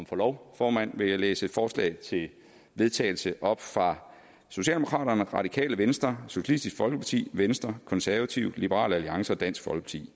forlov formand vil jeg læse et forslag til vedtagelse op fra socialdemokraterne radikale venstre socialistisk folkeparti venstre konservative liberal alliance og dansk